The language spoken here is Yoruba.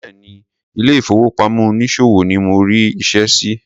Béèni ile ìfowópamọ́ onísòwò ni mo rí iṣẹ́ sí.